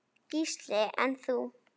Gísli: En þú?